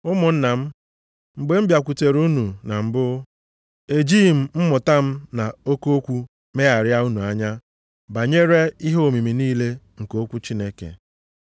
Ụmụnna m, mgbe m bịakwutere unu na mbụ, ejighị m mmụta m na oke okwu megharịa unu anya banyere ihe omimi niile nke okwu Chineke.